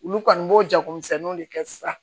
Olu kɔni b'o jagomisɛnninw de kɛ sisan